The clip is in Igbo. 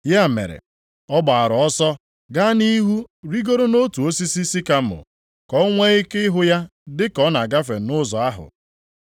Ya mere, ọ gbaara ọsọ gaa nʼihu rigoro nʼotu osisi sikamọ, ka o nwee ike ịhụ ya dị ka ọ na-agafe nʼụzọ ahụ.